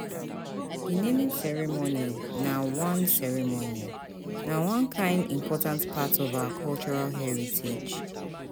Di naming ceremony na one ceremony na one kain important part of our cultural heritage